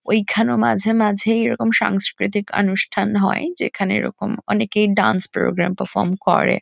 ঐখানে মাঝে মাঝেই এরকম সাংস্কৃতিক আনুষ্ঠান হয়। যেখানে এরকম অনেকেই ডান্স প্রোগ্রাম পারফর্ম করে।